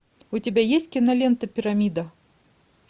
у тебя есть кинолента пирамида